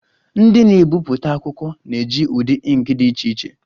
Ndị na-ebipụta akwụkwọ na-eji ụdị ink dị iche iche